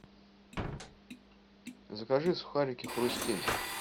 закажи сухарики хрустим